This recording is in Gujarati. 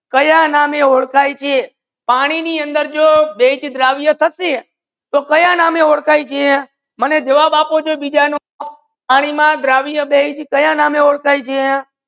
કયા નામ ઓડખાયે છે પાની ની અંદર જો બેસ દ્રવ્ય થસે તો કયા નામ ઓડખાયે છે મને જવાબ આપો બિજા નંબર પાની માં દ્રવ્ય બેસ તો કયા નામ ઓડખાયે છે?